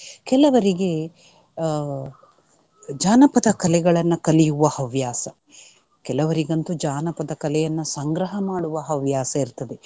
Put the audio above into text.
ಕೆಲವರಿಗೆ ಅಹ್ ಜಾನಪದ ಕಲೆಗಳನ್ನ ಕಲಿಯುವ ಹವ್ಯಾಸ. ಕೆಲವರಿಗಂತೂ ಜಾನಪದ ಕಲೆಯನ್ನ ಸಂಗ್ರಹ ಮಾಡುವ ಹವ್ಯಾಸ ಇರ್ತದೆ.